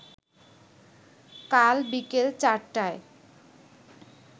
কাল বিকেল চারটায়